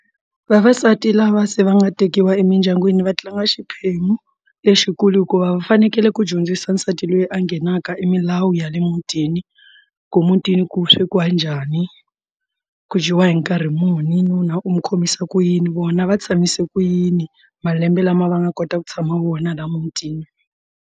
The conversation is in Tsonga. Vavasati lava se va nga tekiwa emindyangwini va tlanga xiphemu lexikulu hikuva va fanekele ku dyondzisa nsati loyi a nghenaka i milawu ya le mutini ku mutini i ku swekiwa njhani ku dyiwa hi nkarhi muni nuna u n'wi khomisa ku yini vona va tshamise ku yini malembe lama va nga kota ku tshama vona laha mutini.